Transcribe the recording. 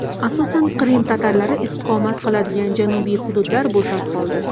Asosan Qrim tatarlari istiqomat qiladigan janubiy hududlar bo‘shab qoldi.